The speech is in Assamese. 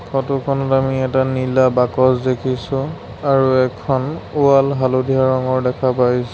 ফটোখনত আমি এটা নীলা বাকচ দেখিছোঁ আৰু এখন ৱাল হালধীয়া ৰঙৰ দেখা পাই--